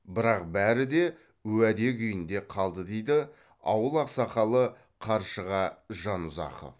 бірақ бәрі де уәде күйінде қалды дейді ауыл ақсақалы қаршыға жанұзақов